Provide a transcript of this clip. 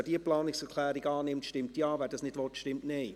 Wer diese annimmt stimmt Ja, wer dies nicht will, stimmt Nein.